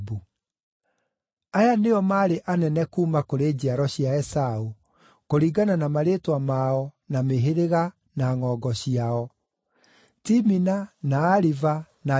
Aya nĩo maarĩ anene kuuma kũrĩ njiaro cia Esaũ, kũringana na marĩĩtwa mao, na mĩhĩrĩga, na ngʼongo ciao: Timina, na Aliva, na Jethethu,